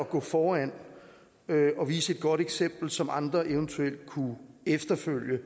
gå foran og vise et godt eksempel som andre eventuelt kunne efterfølge